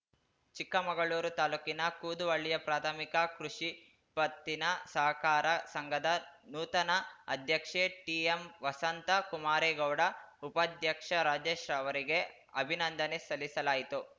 ಚಿಕ್ಕಮಗಳೂರು ತಾಲ್ಲೂಕಿನ ಕೂದುವಳ್ಳಿಯ ಪ್ರಾಥಮಿಕ ಕೃಷಿ ಪತ್ತಿನ ಸಹಕಾರ ಸಂಘದ ನೂತನ ಅಧ್ಯಕ್ಷೆ ಟಿಎಂವಸಂತಾ ಕುಮಾರೇಗೌಡ ಉಪಾಧ್ಯಕ್ಷ ರಾಜೇಶ್‌ ಅವರಿಗೆ ಅಭಿನಂದನೆ ಸಲ್ಲಿಸಲಾಯಿತು